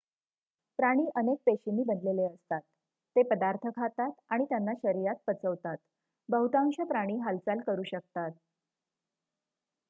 प्राणी अनेक पेशींनी बनलेले असतात ते पदार्थ खातात आणि त्यांना शरीरात पचवतात बहुतांश प्राणी हालचाल करू शकतात